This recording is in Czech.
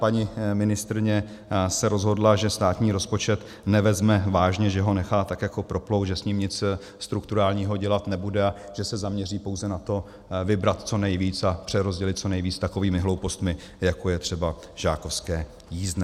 Paní ministryně se rozhodla, že státní rozpočet nevezme vážně, že ho nechá tak jako proplout, že s ním nic strukturálního dělat nebude a že se zaměří pouze na to vybrat co nejvíc a přerozdělit co nejvíc takovými hloupostmi, jako je třeba žákovské jízdné.